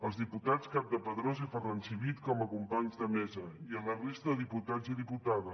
als diputats campdepadrós i ferran civit com a companys de mesa i a la resta de diputats i diputades